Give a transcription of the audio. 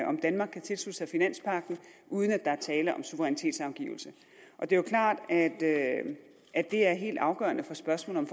om danmark kan tilslutte sig finanspagten uden at der er tale om suverænitetsafgivelse og det er jo klart at det er helt afgørende for spørgsmålet